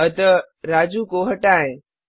अतः राजू को हटाएँ